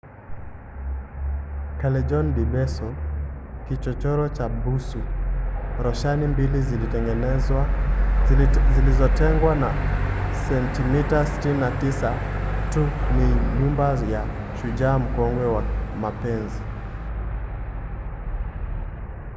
callejon del beso kichochoro cha busu. roshani mbili zilizotengwa na sentimita 69 tu ni nyumba ya shujaa mkongwe wa mapenzi